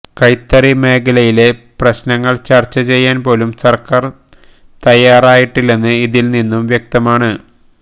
കൈത്തറി മേഖലയിലെ പ്രശ്നങ്ങള് ചര്ച്ച ചെയ്യാന്പോലും സര്ക്കാര് തയ്യാറായിട്ടില്ലെന്ന് ഇതില് നിന്നും വ്യക്തമാണ്